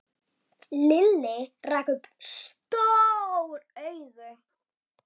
Lilli rak upp stór augu.